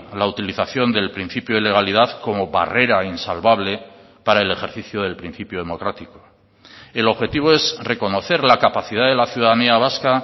la utilización del principio de legalidad como barrera insalvable para el ejercicio del principio democrático el objetivo es reconocer la capacidad de la ciudadanía vasca